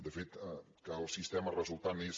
de fet que el sistema resultant és